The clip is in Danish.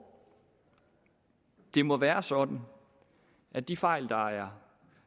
det må være sådan at de fejl der